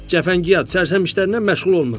Cəfəngiyat, cəfəngişlərdən məşğul olmuram.